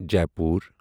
Jaipur